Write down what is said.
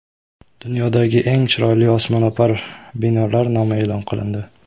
Dunyodagi eng chiroyli osmono‘par binolar nomi e’lon qilindi .